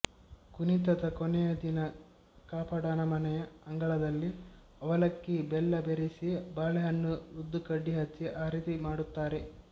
ಕುಣಿತದ ಕೊನೆಯ ದಿನ ಕಾಪಾಡನ ಮನೆಯ ಅಂಗಳದಲ್ಲಿ ಅವಲಕ್ಕಿ ಬೆಲ್ಲ ಬೆರೆಸಿ ಬಾಳೆಹಣ್ಣು ಉದುಕಡ್ಡಿ ಹಚ್ಚಿ ಆರತಿ ಮಾಡುತ್ತಾರೆ